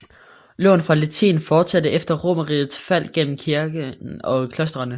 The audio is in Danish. Lån fra latin fortsatte efter Romerrigets fald gennem kirken og klostrene